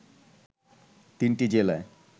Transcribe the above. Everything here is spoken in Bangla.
তিনটি জেলায়